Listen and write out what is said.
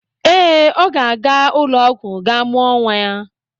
Ee, ọ ga-aga ụlọ ọgwụ gaa mụọ nwa.